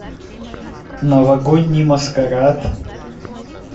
новогодний маскарад